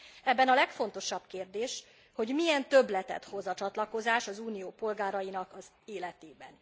Ebben a legfontosabb kérdés, hogy milyen többletet hoz a csatlakozás az Unió polgárainak az életében.